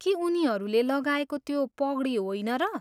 के उनीहरूले लगाएको त्यो पगडी होइन र?